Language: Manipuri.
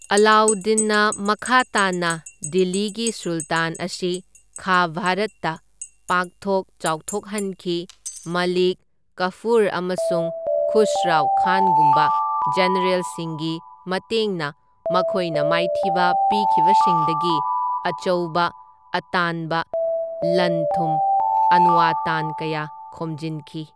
ꯑꯂꯥꯎꯗꯤꯟꯅ ꯃꯈꯥ ꯇꯥꯅ ꯗꯤꯜꯂꯤꯒꯤ ꯁꯨꯜꯇꯥꯟ ꯑꯁꯤ ꯈꯥ ꯚꯥꯔꯠꯇ ꯄꯥꯛꯊꯣꯛ ꯆꯥꯎꯊꯣꯛꯍꯟꯈꯤ, ꯃꯂꯤꯛ ꯀꯐꯨꯔ ꯑꯃꯁꯨꯡ ꯈꯨꯁꯔꯥꯎ ꯈꯥꯟꯒꯨꯝꯕ ꯖꯦꯅꯔꯦꯜꯁꯤꯡꯒꯤ ꯃꯇꯦꯡꯅ ꯃꯈꯣꯏꯅ ꯃꯥꯏꯊꯤꯕ ꯄꯤꯈꯤꯕꯁꯤꯡꯗꯒꯤ ꯑꯆꯧꯕ ꯑꯇꯥꯟꯕ ꯂꯟ ꯊꯨꯝ ꯑꯟꯋꯇꯥꯟ ꯀꯌꯥ ꯈꯣꯝꯖꯤꯟꯈꯤ꯫